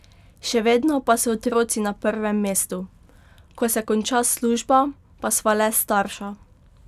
Še vedno pa so otroci na prvem mestu: "Ko se konča služba, pa sva le starša.